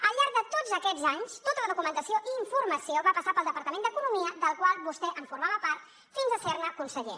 al llarg de tots aquests anys tota la documentació i informació va passar pel departament d’economia del qual vostè formava part fins a ser ne conseller